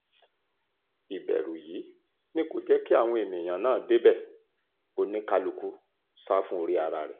ìbẹ̀rù yìí ni kò jẹ́ kí àwọn èèyàn náà débẹ̀ oníkálukú sá fún orí ara rẹ̀